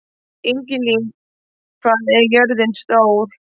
Ingilín, hvað er jörðin stór?